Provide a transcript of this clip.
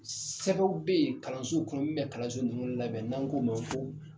Sɛ bɛw be ye kalansow kɔnɔ min be kalanso ninnu labɛn n'an k'o ma ko